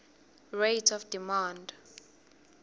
rate of demand